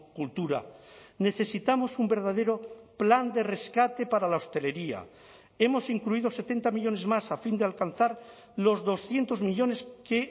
cultura necesitamos un verdadero plan de rescate para la hostelería hemos incluido setenta millónes más a fin de alcanzar los doscientos millónes que